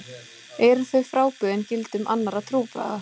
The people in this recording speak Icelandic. Eru þau frábrugðin gildum annarra trúarbragða?